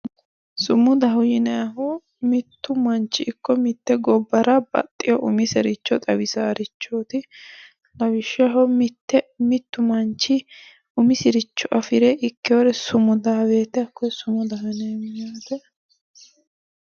Sumudaho yinayiihu mittu manchi ikko mitte gobbara baxxeyo umisericho xawidhaarichooti lawishshaho mittu manchi umisiricho afire ikkeyore sumudaa woyte hakkoye sumudaho yineemmo